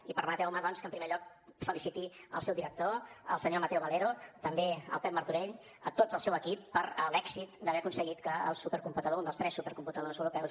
i permeteu me doncs que en primer lloc feliciti el seu director el senyor mateo valero també el pep martorell a tot el seu equip per l’èxit d’haver aconseguit que el supercomputador un dels tres supercomputadors europeus